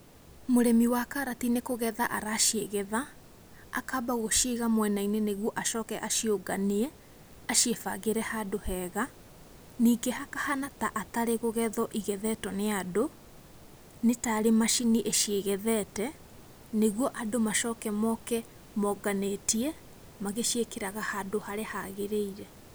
Mũrĩmi wa karati nĩ kũgetha araciĩgetha, akamba gũciiga mwena-inĩ nĩgetha aciũnganie, aciĩbangĩre handũ hega. Ningĩ hakahana ta atarĩ kũgetho igethetwo nĩ andũ, nĩ tarĩ macini ĩciĩgethete, nĩguo andũ macoke moke maũnganĩtie, magĩciĩkĩraga handũ harĩa hagĩrĩire.